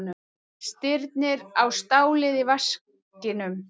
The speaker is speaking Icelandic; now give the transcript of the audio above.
Stirnir á stálið í vaskinum.